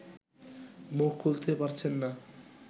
মুখ খুলতে পারছেন না